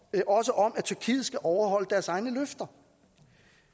men også om at tyrkiet skal overholde deres egne løfter